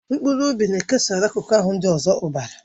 Mkpụrụ obi na-ekesara akụkụ ahụ ndị ọzọ ọbara.